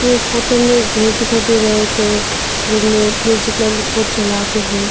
और इस फोटो में घर दिखाई दे रहा है थो जिनमें चलाके है।